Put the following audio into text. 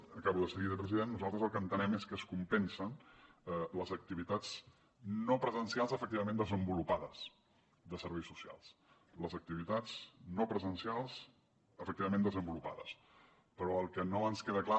acabo de seguida president nosaltres el que entenem és que es compensen les activitats no presencials efectivament desenvolupades de serveis socials les activitats no presencials efectivament desenvolupades però el que no ens queda clar